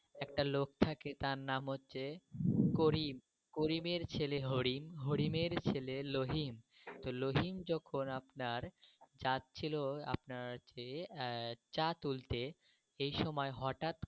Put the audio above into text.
ওই গ্রামে একটা লোক থাকে তার নাম হচ্ছে করিম। করিম এর ছেলে হরিণ। হরিণ এর ছেলে লোহিন। তো লোহিন যখন আপনার যাচ্ছিল আপনার হচ্ছে হমম চা তুলতে সেই সময় হঠাৎ।